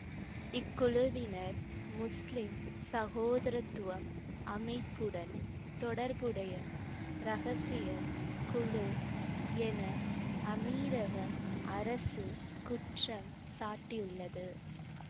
இக்குழுவினர் முஸ்லிம் சகோதரத்துவம் அமைப்புடன் தொடர்புடைய இரகசிய குழு என அமீரக அரசு குற்றம் சாட்டியுள்ளது